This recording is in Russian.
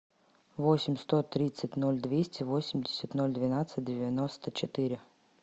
восемь сто тридцать ноль двести восемьдесят ноль двенадцать девяносто четыре